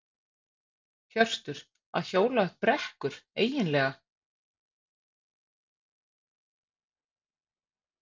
Hjörtur: Að hjóla upp brekkur, eiginlega?